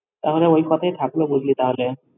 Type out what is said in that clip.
তাহলে ওই কথাই থাকলো বুঝলি তাহলে।